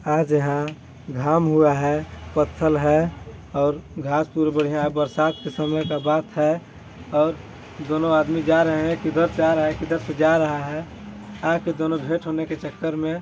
आज यहाँ घाम हुआ है पत्थल है और घास-फूस बढ़िया बरसात के समय का बात है और दोनों आदमी जा रहै हैं किधर से आ रहा है किधर से जा रहा है आके दोनों भेंट होने के चक्कर में--